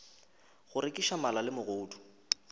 go rekiša mala le megodu